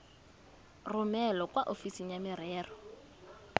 romele kwa ofising ya merero